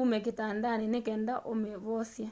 ũme kitandanĩ nĩkenda ũmĩvosye